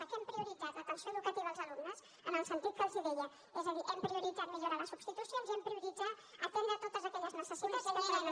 què hem prioritzat l’atenció educativa als alumnes en el sentit que els deia és a dir hem prioritzat millorar les substitucions i hem prioritzat atendre totes aquelles necessitats que són en el centre